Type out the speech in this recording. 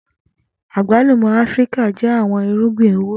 Agbalumo Afirika jẹ awọn irugbin owo.